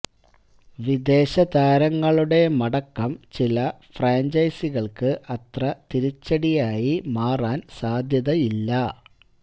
വിദേശ താരങ്ങളുടെ മടക്കം ചില ഫ്രാഞ്ചൈസികള്ക്കു അത്ര തിരിച്ചടിയായി മാറാന് സാധ്യതയില്ല